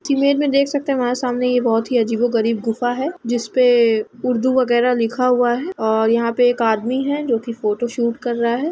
Image में देख सकते हैं हमारा सामने ये बहोत ही अजीबो-गरीब गुफा है जिसपे उर्दू वगैरा लिखा हुआ है और यहाँ पे एक आदमी है जो कि फोटोशूट कर रहा है।